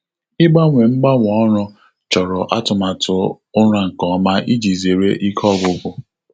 Ịgbanwe mgbanwe ọrụ chọrọ atụmatụ ụra nke ọma iji zere ike ọgwụgwụ.